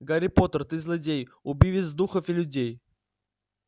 гарри поттер ты злодей убивец духов и людей